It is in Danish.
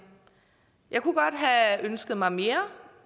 jeg kunne godt have ønsket mig mere